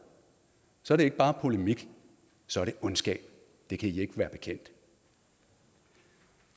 så er det ikke bare polemik så er det ondskab og det kan i ikke være bekendt